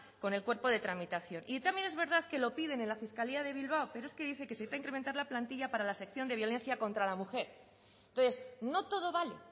con el cuerpo de tramitación y también es verdad que lo piden en la fiscalía de bilbao pero es que dice que se tiene que incrementar la plantilla para la sección de violencia contra la mujer entonces no todo vale